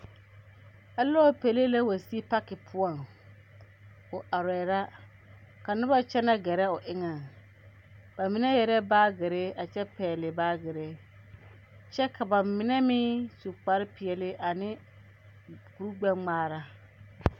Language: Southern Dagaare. Alopele la wa sigi paki poɔŋ o arɛɛ la ka noba kyɛnɛ gɛrɛ o eŋɛŋ ba mine yɛrɛɛ baagere kyɛ pɛgle baagere kyɛ ka ba mine meŋ su kparepeɛle ane kurigbɛŋmaara.